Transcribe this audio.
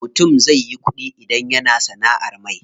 Mutum zai yi ƙuɗi idan yana sanaʼar mai.